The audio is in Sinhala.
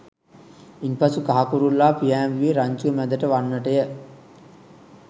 ඉන් පසු කහ කුරුල්ලා පියෑඹුයේ රංචුව මැදට වන්නටය